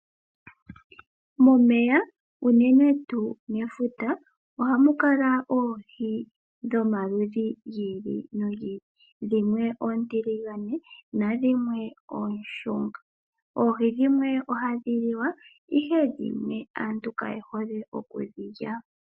Momeya unene tu mefuta oha mukala oohii dhomaludhi ngili nongili dhimwe otilingane nadhimwe oshunga, oohii dhimwe oha dhiliwa ihe dhimwe aantu kayehole oku dhilya,